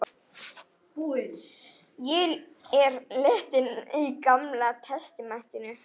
Ég er lentur í Gamla testamentinu.